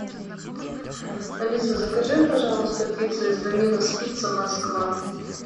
алиса закажи пожалуйста пицца из доминос пицца москва